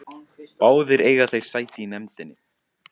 Báðir eiga þeir sæti í nefndinni